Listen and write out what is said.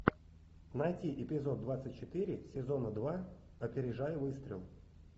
найти эпизод двадцать четыре сезона два опережая выстрел